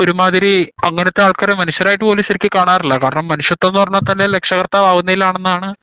ഒരുമാതിരി അങ്ങനത്തെ ആൾക്കാരെ മനുഷ്യരായിട്ടു പോലും ശെരിക്ക് കാണാറില്ല കാരണം മനുഷ്യത്വം എന്ന് പറഞ്ഞാൽ തന്നെ രക്ഷാകർത്താവ് ആവുന്നേ ആണെന്നാണ്